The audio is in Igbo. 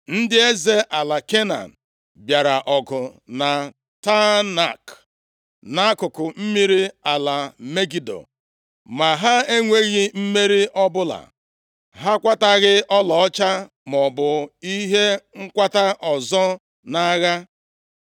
“Ndị eze ala Kenan bịara ọgụ na Teanak, nʼakụkụ mmiri ala Megido. Ma ha enweghị mmeri ọbụla. Ha akwataghị ọlaọcha maọbụ ihe nkwata ọzọ nʼagha.